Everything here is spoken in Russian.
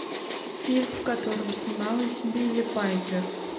фильм в котором снималась билли пайпер